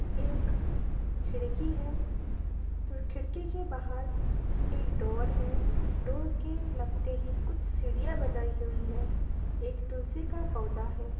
एक खिड़की है तो खिड़की के बाहर एक डोर है डोर के लगते ही कुछ सीढ़ियां बनाई हुई है एक तुलसी का पौधा है।